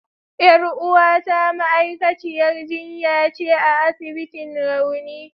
Yar uwata ma'aikaciyar jinya ce a asibitin rauni.